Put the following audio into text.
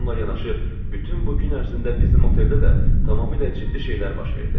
Bununla yanaşı bütün bu gün ərzində bizim oteldə də tamamilə ciddi şeylər baş verdi.